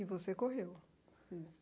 E você correu.